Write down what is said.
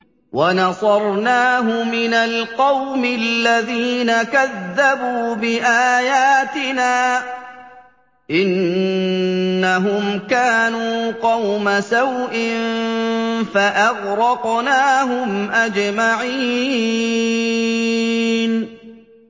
وَنَصَرْنَاهُ مِنَ الْقَوْمِ الَّذِينَ كَذَّبُوا بِآيَاتِنَا ۚ إِنَّهُمْ كَانُوا قَوْمَ سَوْءٍ فَأَغْرَقْنَاهُمْ أَجْمَعِينَ